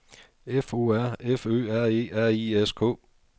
F O R F Ø R E R I S K